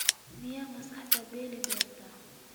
Miyaanad maskaxdaada bedeli doonin?